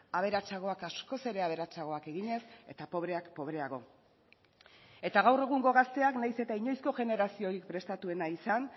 aberatsagoak askoz ere aberatsagoak eginez eta pobreak pobreago eta gaur egungo gazteak nahiz eta inoizko generaziorik prestatuena izan